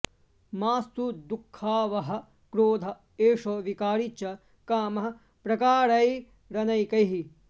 माऽस्तु दुःखावहः क्रोध एषो विकारी च कामः प्रकारैरनेकैः